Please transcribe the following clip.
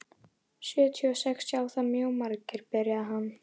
Sjötíu og sex sjá það mjög margir, byrjaði hann.